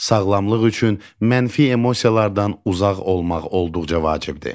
Sağlamlıq üçün mənfi emosiyalardan uzaq olmaq olduqca vacibdir.